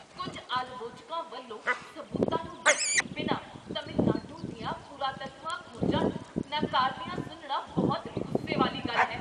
ਕੁੱਝ ਆਲਵੋਚਕਾਂ ਵੱਲੋਂ ਸਬੂਤਾਂ ਨੂੰ ਦੇਖੇ ਬਿਨਾਂ ਤਾਮਿਲਨਾਡੂ ਦੀਆਂ ਪੁਰਾਤੱਤਵ ਖੋਜਾਂ ਨੂੰ ਨਕਾਰਦੀਆਂ ਸੁਣਨਾ ਬਹੁਤ ਗੁੱਸੇ ਵਾਲੀ ਗੱਲ ਹੈ।